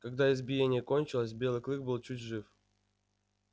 когда избиение кончилось белый клык был чуть жив